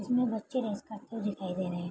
इसमें बच्चे रेस करते हुए दिखाई दे रहे --